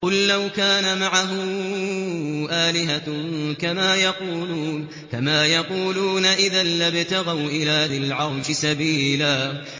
قُل لَّوْ كَانَ مَعَهُ آلِهَةٌ كَمَا يَقُولُونَ إِذًا لَّابْتَغَوْا إِلَىٰ ذِي الْعَرْشِ سَبِيلًا